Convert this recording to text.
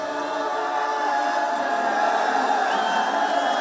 Qarabağ!